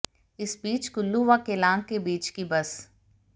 इस बीच कुल्लू व केलांग के बीच की बस